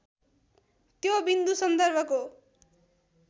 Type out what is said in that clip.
त्यो बिन्दु सन्दर्भको